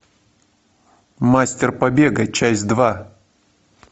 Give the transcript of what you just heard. мастер побега часть два